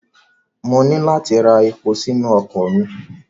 Mo ní láti ra epo sínu ọkọ̀ mi.